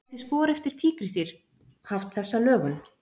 Gæti spor eftir tígrisdýr haft þessa lögun?